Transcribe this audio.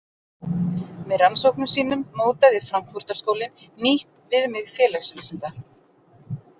Með rannsóknum sínum mótaði Frankfurtar-skólinn nýtt „viðmið félagsvísinda“.